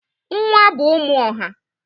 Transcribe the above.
Nwa bụ ụmụ ọha.